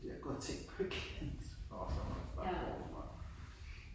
Fordi jeg har gået og tænkt på et eller andet åh så må man starte forfra